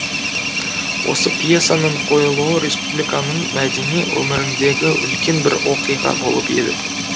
осы пьесаның қойылуы республиканың мәдени өміріндегі үлкен бір оқиға болып еді